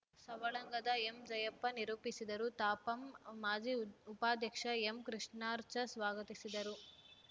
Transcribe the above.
ಸವಳಂಗದ ಎಂಜಯಪ್ಪ ನಿರೂಪಿಸಿದರು ತಾಪಂ ಮಾಜಿ ಉಪಾಧ್ಯಕ್ಷ ಎಂಕೃಷ್ಣಾಚಾರ್‌ ಸ್ವಾಗತಿಸಿದರು